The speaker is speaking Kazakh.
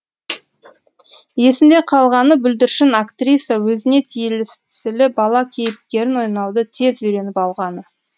есінде қалғаны бүлдіршін актриса өзіне тиесілі бала кейіпкерін ойнауды тез үйреніп алғаны